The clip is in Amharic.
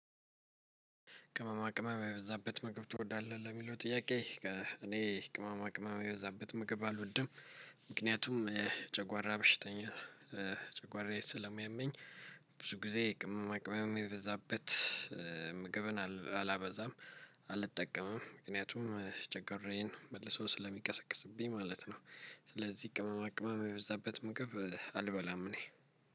ቅማማ ቅመም የበዛበት ምግብ ትወዳለህ? ለሚለው ጥያቄ እኔ ቅማማ ቅመም የበዛበት ምግብ አልወድም። ምክንያቱም ጨጓራ በሽተኛ ጨጓራየ ስለሚያመኝ። ብዙ ጊዜ ቅመማ ቅመም የበዛበት ምግብን አላበዛም። አልጠቀምም ምክንያቱም ጨጓራየን መልሶ ስለሚቀሰቅስብኝ ማለት ነው። ስለዚህ ቅመማ ቅመም የበዛበት ምግብ አልበላም እኔ።